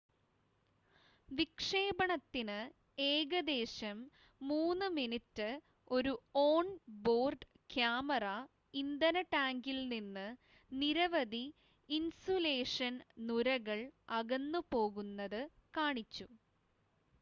വിക്ഷേപണത്തിന് ഏകദേശം 3 മിനിറ്റ് ഒരു on board camera ഇന്ധന ടാങ്കിൽ നിന്ന് നിരവധി ഇൻസുലേഷൻ നുരകൾ അകന്നുപോകുന്നത് കാണിച്ചു